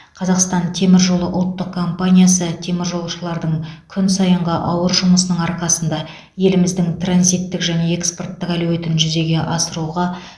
қазақстан темір жолы ұлттық компаниясы теміржолшылардың күн сайынғы ауыр жұмысының арқасында еліміздің транзиттік және экспорттық әлеуетін жүзеге асыруға